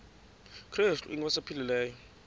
krestu inkosi ephilileyo